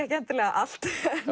ekki endilega allt